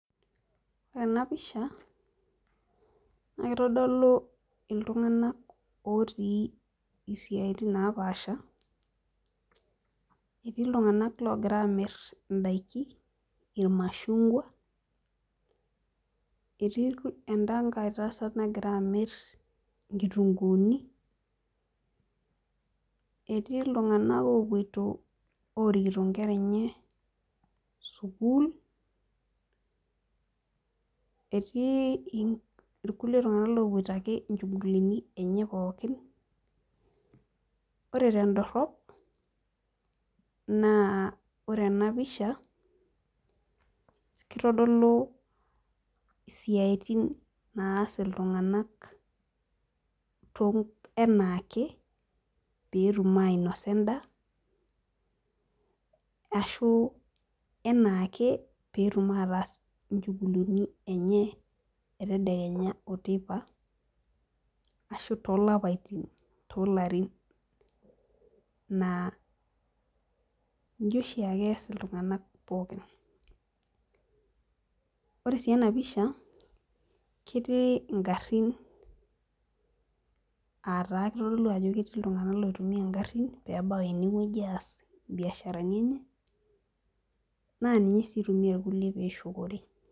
Ore ena pisha naa kitodolu iltunganak otii isiatin napaasha, etii iltunganak loogira Aamir idaikin ilmashungua, etii edankae tasat nagira amir inkitunkuuni, etii iltunganak oopoito oorkito nkera enye sukuul, etii irkulie tunganak oopoito ake nchugulini. ore tedorop naa ore ena pisha kitodolu istiatin naasi iltunganak anaake peetum ainosa edaa, ashu anaake peetum ataas nchugulini enye etedekenya oteipa ashu toolapaitin toolarin. naa iji oshiake es iltunganak pookin. ore sii ena pisha ketii garin aa taa kitodolu ajo ketii iltunganak loitumia garin pee ebau ene wueji aas biasharani ene. naa ninye sii itumia irkulie pee eshukore.